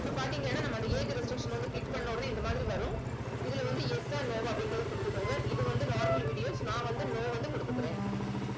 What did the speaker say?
இப்ப பாத்தீங்கன்னா நம்ம அந்த age restriction வந்து click பண்ண உடனே இந்த மாதிரி வரும். இதுல வந்து yes ஆ no வா அப்படின்றதை கொடுத்துக்கோங்க. இது வந்து normal videos நான் வந்து no வந்து கொடுத்துக்கிறேன்